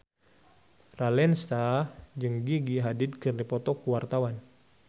Raline Shah jeung Gigi Hadid keur dipoto ku wartawan